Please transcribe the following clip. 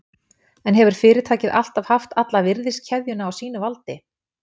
En hefur fyrirtækið alltaf haft alla virðiskeðjuna á sínu valdi?